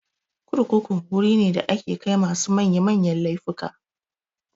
Kurkuku wuri ne da ake kai masu manya manyan laifuka.